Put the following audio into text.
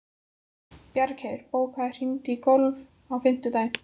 Bjargheiður, bókaðu hring í golf á fimmtudaginn.